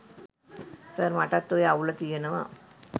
sir මටත් ඔය අවුල තියනව